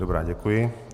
Dobře, děkuji.